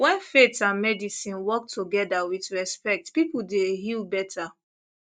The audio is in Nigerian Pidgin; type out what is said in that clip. when faith and medicine work together with respect people dey heal better